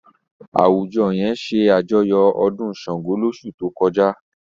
Àwùjọ yẹn ṣàjọyọ̀ ọdún Ṣàngó lóṣù tó kọjá.